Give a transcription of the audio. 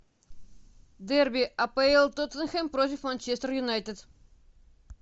дерби апл тоттенхэм против манчестер юнайтед